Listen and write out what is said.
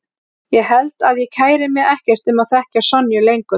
Ég held að ég kæri mig ekkert um að þekkja Sonju lengur.